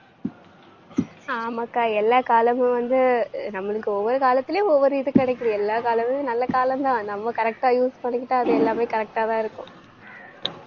ஆமாக்கா, எல்லா காலமும் வந்து அஹ் நம்மளுக்கு ஒவ்வொரு காலத்துலயும் ஒவ்வொரு இது கிடைக்குது. எல்லா காலங்களிலும் நல்ல காலம்தான். நம்ம correct ஆ use பண்ணிக்கிட்டா அது எல்லாமே correct ஆதான் இருக்கும்.